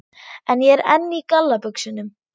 En ég er enn í galla buxunum.